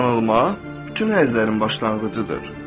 Yanılma bütün həzlərin başlanğıcıdır.